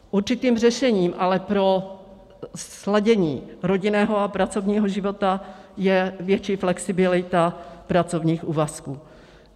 Určitým řešením ale pro sladění rodinného a pracovního života je větší flexibilita pracovních úvazků.